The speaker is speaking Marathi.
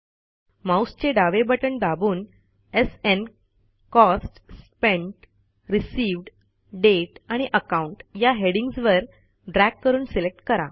माऊसचे डावे बटण दाबून SN cost spent received date आणि अकाउंट या हेडिंग्जवर ड्रॅग करून सिलेक्ट करा